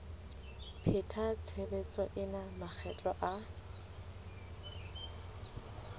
pheta tshebetso ena makgetlo a